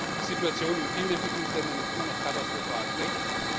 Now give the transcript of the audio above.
Die Situation in den Entwicklungsländern ist immer noch katastrophal schlecht.